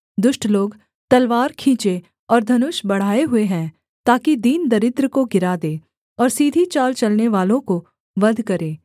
दुष्ट लोग तलवार खींचे और धनुष बढ़ाए हुए हैं ताकि दीन दरिद्र को गिरा दें और सीधी चाल चलनेवालों को वध करें